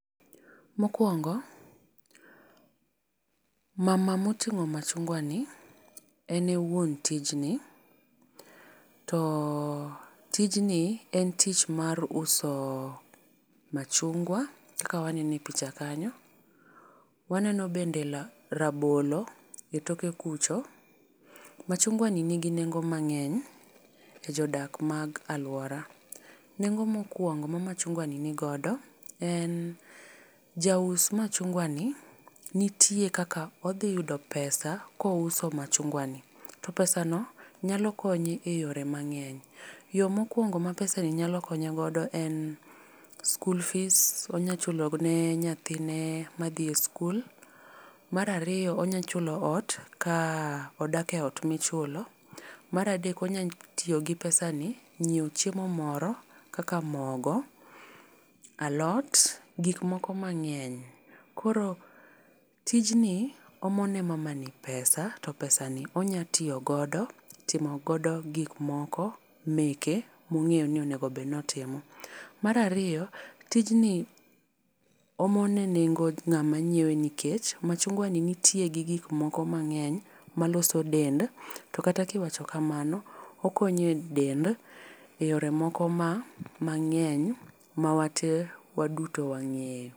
Mokuongo, mama mo tingo machungwa ni en e won tij ni. To tijni en tich mar uso machungwa kaka waneno e picha kanyo ,waneno bende la rabolo e toke kucho. Machungwa ni ni gi nengo mang'eny e jo dak ma jo aluora. Nengo mokuongo ma machungwa ni godo en jaus machungwa nitie kaka odhi yudo pesa ka ouso machungwa ni. To pesa no nyalo konye e yo mangeny. Yo mokuongo ma pesa ni nyalo konye godo en skul fees onyalo chule ne nyathine ma dhi skul, mar ariyo onya chulo ot ka odak e ot mi ichulo, mar adek onyalo tiyo gi pesa ni nyiewo chiemo moro kaka mogo, alot, gik moko ma ngeny. Koro tyijni omo ne mama ni pesa to pesa ni onyalo tiyo godo timo go gik moko meke ma ong'eyo ni onego bed ni otimo. Mar ariyo tijni omone nengo ng'ama ngiewo nikech machungwa ni gi gik moko mang'eny ma loso dend to kata ki iwacho kamano okonyo e dend e yore ma mangeny ma wa tee waduto wangeyo